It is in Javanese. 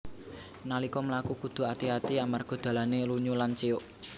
Nalika mlaku kudhu ati ati amarga dalané lunyu lan ciuk